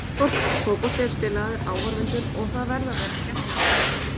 Fótbolti er spilaður fyrir áhorfendur og það verða að vera skemmtiatriði.